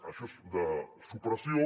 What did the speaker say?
això és de supressió